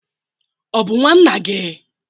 Ọ bụ nwa nna gị?